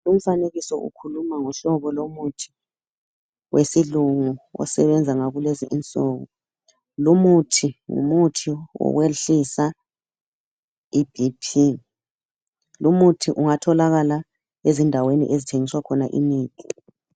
Umfanekiso ukhuluma ngohlobo lomuthi wesilungu osebenza ngakulezi insuku. Lumuthi ngumuthi wokwehlisa iBP. Lumuthi ungatholakala ezindaweni okuthengiswa khona imithi.